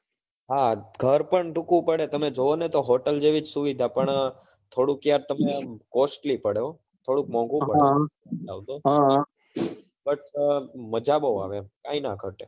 હા ઘર પણ ટૂંકું પડે તમે જોવો ને તો hotel જેવી જ સુવિધા પણ થોડુક યાર તમે આમ costly પડે હો થોડુક મોન્ગું પડે but મજા બહુ આવે કાઈ ના ઘટે